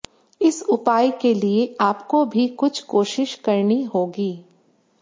इस उपाय के लिए आपको भी कुछ कोशिश करनी होगी